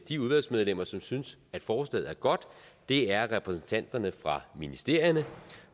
de udvalgsmedlemmer som synes at forslaget er godt er repræsentanterne fra ministerierne